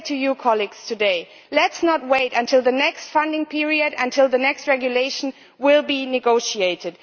I say to my colleagues today, let us not wait until the next funding period, until the next regulation is negotiated.